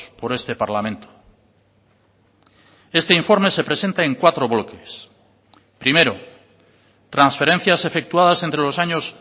por este parlamento este informe se presenta en cuatro bloques primero transferencias efectuadas entre los años